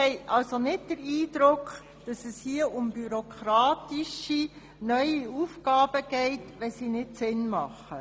Wir haben nicht den Eindruck, dass es hier um bürokratische, neue Aufgaben geht, die keinen Sinn machen.